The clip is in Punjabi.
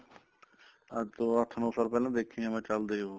ਅੱਜ ਤੋਂ ਅੱਠ ਨੋ ਸਾਲ ਪਹਿਲਾਂ ਦੇਖੇ ਆ ਚੱਲਦੇ ਉਹ